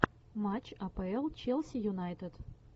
матч апл челси юнайтед